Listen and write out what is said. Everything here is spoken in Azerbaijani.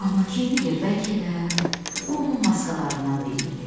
Amma kim bilir, bəlkə də bu onun maskalarından biri idi.